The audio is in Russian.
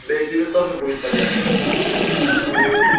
да и тебе тоже будет полезно